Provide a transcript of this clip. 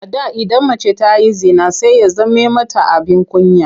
A da idan mace ta yi zina sai ya zame mata abin kunya.